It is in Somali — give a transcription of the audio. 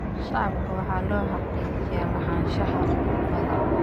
Shacabka waxaa loo xaqiijiyaa lahaanshaha dhulkooda.